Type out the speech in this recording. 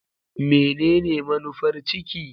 Menene manufar ciki?